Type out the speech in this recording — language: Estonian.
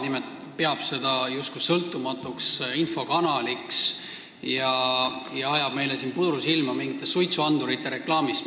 Nimelt, ta peab seda justkui sõltumatuks infokanaliks ja ajab meile siin mingite suitsuandurite reklaamiga puru silma.